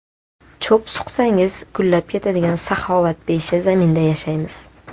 Cho‘p suqsangiz, gullab ketadigan saxovatpesha zaminda yashaymiz.